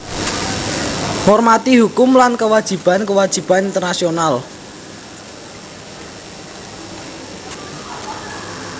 Ngormati hukum lan kewajiban kewajiban internasional